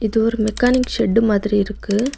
இது ஒரு mechanic set மாதிரி இருக்கு.